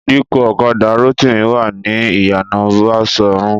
Ìdíkọ̀ ọ̀kadà Rótìmí wà ní ìyànà Baṣọ̀run